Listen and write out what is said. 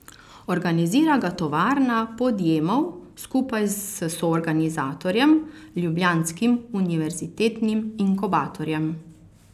Organizira ga Tovarna podjemov skupaj s soorganizatorjem, Ljubljanskim univerzitetnim inkubatorjem.